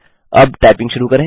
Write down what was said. अब टाइपिंग शुरू करें